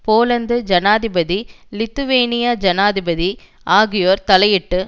Poland ஜனாதிபதி லித்துவேனிய ஜனாதிபதி ஆகியோர் தலையிட்டு